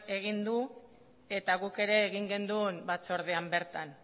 egin du eta guk ere egin genuen batzordean bertan